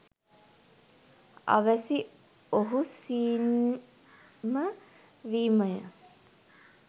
අවැසි ඔහු සීන් ම වීම ය.